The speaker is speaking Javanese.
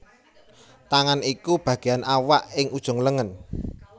Tangan iku bagéan awak ing ujung lengen